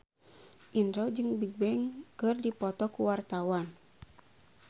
Indro jeung Bigbang keur dipoto ku wartawan